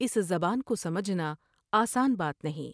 اس زبان کو سمجھنا آسان بات نہیں ۔